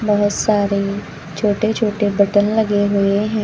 बहोत सारे छोटे छोटे बटन लगे हुए हैं।